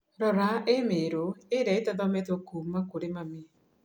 Rora i-mīrū ĩrĩa itathometũo kuuma kũrĩ mami